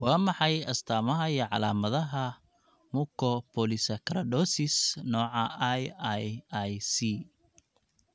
Waa maxay astamaha iyo calaamadaha Mucopolysaccharidosis nooca IIIC?